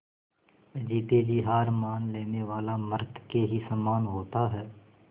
जीते जी हार मान लेने वाला मृत के ही समान होता है